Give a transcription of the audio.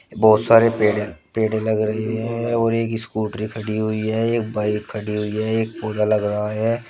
बहुत सारे पेड़ पेड़ लग रही है और एक स्कूट्री खड़ी हुई है एक बाइक खड़ी हुई है एक पौधा लग रहा है।